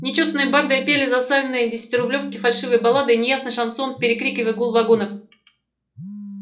нечёсаные барды пели за сальные десятирублёвки фальшивые баллады и неясный шансон перекрикивая гул вагонов